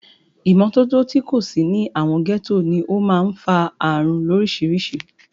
Ìmọ́tótó tí kò sí ní àwọn gẹ́tò ní o máà ń fa ààrùn lórísirísì.